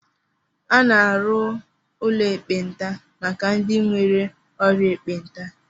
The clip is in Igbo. A na-arụ ụlọ ekpenta maka ndị nwere ọrịa ekpenta